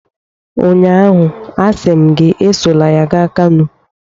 Ụnyaahụ, asị m gị, esola ya gaa Kano!